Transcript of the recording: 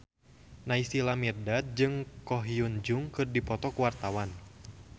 Naysila Mirdad jeung Ko Hyun Jung keur dipoto ku wartawan